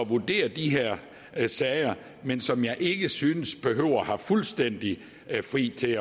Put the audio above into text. vurdere de her her sager men som jeg ikke synes behøver at have fuldstændig frihed til